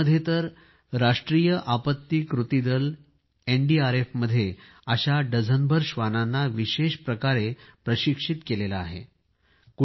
भारतामध्ये तर राष्ट्रीय आपत्ती कृती दल एनडीआरएफमध्ये अशा डझनभर श्वानांना विशेष प्रकारे प्रशिक्षित केले जाते